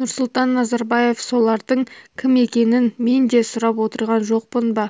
нұрсұлтан назарбаев солардың кім екенін мен де сұрап отырған жоқпын ба